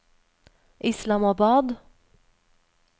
Islamabad